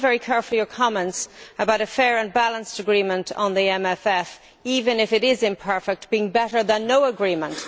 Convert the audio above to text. I noted very carefully your comments about a fair and balanced agreement on the MFF, even if it is imperfect, being better than no agreement.